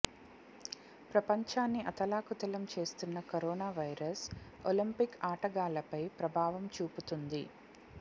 ప్రపంచాన్ని అతలాకుతలం చేస్తున్న కరోనా వైరస్ ఒలింపిక్ ఆటగాళ్ళపై ప్రభావం చూపుతుంది